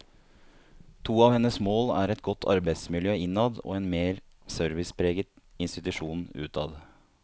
To av hennes mål er et godt arbeidsmiljø innad og en mer servicepreget institusjon utad.